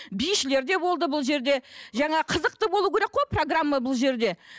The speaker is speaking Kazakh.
бишілер де болды бұл жерде жаңа қызықты болу керек қой программа бұл жерде